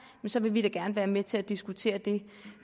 så vil vi da gerne være med til at diskutere det